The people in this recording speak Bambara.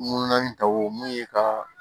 Ŋunanŋunan ta wo mun ye ka